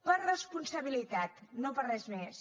per responsabilitat no per res més